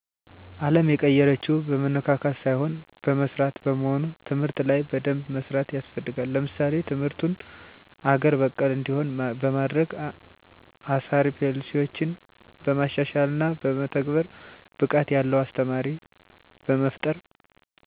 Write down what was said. አለም የተቀየረችው በመነካካት ሳይሆን በመስራት በመሆኑ ትምህርት ላይ በደንብ መስራት ያስፈልጋል። ለምሳሌ ትምርቱን አገር በቀል እንዲሆን በማድረግ፣ አሳሪ ፖሊሲዮችን በማሻሻልና በመተግበር፣ ብቃት ያለው አስተማሪ በመፍጠር